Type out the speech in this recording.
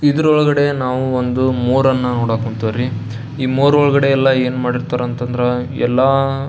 ಇದರ ಒಳಗಡೆ ನಾವು ಒಂದು ಮೊರೆ ಅನ್ನು ನೋಡಕ್ ಹೊಂಥವ್ರಿ ಈ ಮೊರೆ ಒಳಗಡೆ ಎಲ್ಲ ಏನ್ ಮಾಡಿರತಾರೆ ಅಂತಂದ್ರೆ ಎಲ್ಲ --